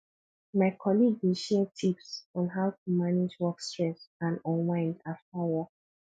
my colleague dey share tips on how to manage work stress and unwind after work